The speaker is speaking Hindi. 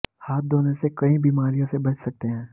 हाथ धोने से कई बीमारियों से बच सकते हैं